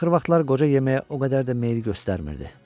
Axır vaxtlar qoca yeməyə o qədər də meyil göstərmirdi.